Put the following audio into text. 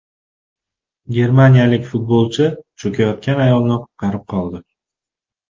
Germaniyalik futbolchi cho‘kayotgan ayolni qutqarib qoldi.